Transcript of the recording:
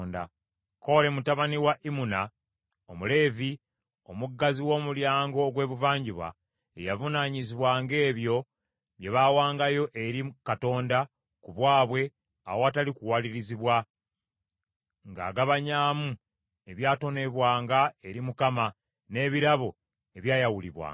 Kole mutabani wa Imuna Omuleevi, omuggazi w’omulyango ogw’ebuvanjuba, ye yavunaanyizibwanga ebyo bye baawangayo eri Katonda ku bwabwe awatali kuwalirizibwa, ng’agabanyamu ebyatonebwanga eri Mukama , n’ebirabo ebyayawulibwanga.